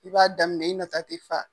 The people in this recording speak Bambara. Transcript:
I b'a daminɛ i nata ti fa.